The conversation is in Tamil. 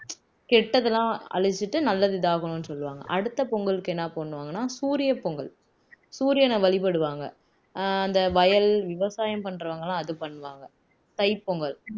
கெட்டதெல்லாம் அழிச்சிட்டு நல்லது இதாகணும்னு சொல்லுவாங்க அடுத்த பொங்கலுக்கு என்ன பண்ணுவாங்கன்னா சூரிய பொங்கல் சூரியனை வழிபடுவாங்க அந்த வயல் விவசாயம் பண்றவங்க எல்லாம் அது பண்ணுவாங்க தைப்பொங்கல்